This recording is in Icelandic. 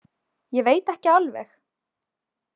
Ég veit ekki alveg